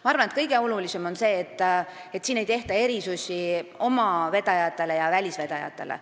Ma arvan, et kõige olulisem on see, et siin ei tehta erisusi oma vedajatele ja välisvedajatele.